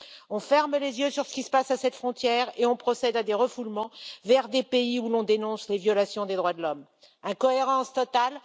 On ferme les yeux sur ce qui se passe à cette frontière et on procède à des refoulements vers des pays où l'on dénonce des violations des droits de l'homme incohérence totale!